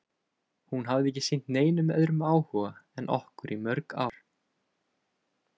Hún hafði ekki sýnt neinum öðrum áhuga en okkur í mörg ár.